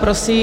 Prosím.